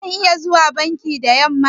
Zan iya zuwa banki da yamma?